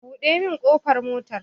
Buɗe min ƙofar motar